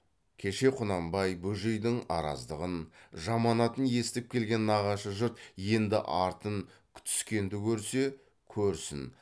кеше құнанбай бөжейдің араздығын жаманатын есітіп келген нағашы жұрт енді артын күтіскенді көрсе көрсін